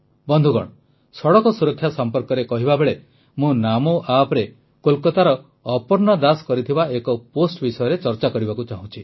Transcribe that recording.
ବନ୍ଧୁଗଣ ସଡ଼କ ସୁରକ୍ଷା ସମ୍ପର୍କରେ କହିବାବେଳେ ମୁଁ ନାମୋ appରେ କୋଲକାତାର ଅପର୍ଣ୍ଣା ଦାସ କରିଥିବା ଏକ ପୋଷ୍ଟ୍ ବିଷୟରେ ଚର୍ଚ୍ଚା କରିବାକୁ ଚାହୁଁଛି